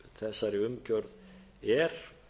þessari umgjörð er